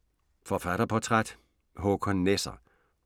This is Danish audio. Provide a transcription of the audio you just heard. Forfatterportræt: Håkan Nesser